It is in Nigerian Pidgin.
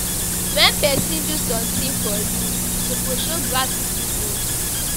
Wen pesin do sometin for you, you suppose show gratitude.